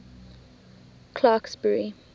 clarksburry